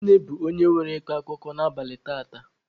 Nne bụ onye nwe ịkọ akụkọ n'abalị taata.